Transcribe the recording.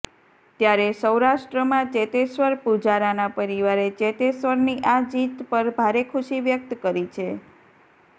ત્યારે સૌરાષ્ટ્રમાં ચેતેશ્વર પુજારાના પરિવારે ચેતેશ્વરની આ જીત પર ભારે ખુશી વ્યક્ત કરી છે